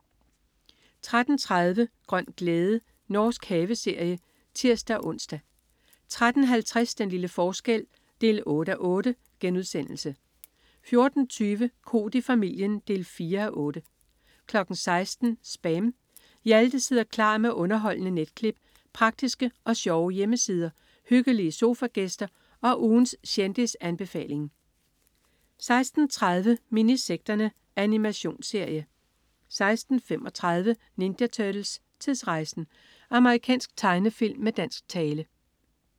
13.30 Grøn glæde. Norsk haveserie (tirs-ons) 13.50 Den lille forskel 8:8* 14.20 Koht i familien 4:8 16.00 SPAM. Hjalte sidder klar med underholdende netklip, praktiske og sjove hjemmesider, hyggelige sofagæster og ugens kendisanbefaling 16.30 Minisekterne. Animationsserie 16.35 Ninja Turtles: Tidsrejsen! Amerikansk tegnefilm med dansk tale